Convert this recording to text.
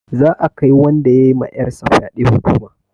Za'a kai wanda ya ma 'yar sa fyaɗe hukuma.